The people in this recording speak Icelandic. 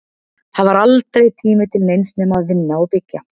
Það var aldrei tími til neins nema að vinna og byggja.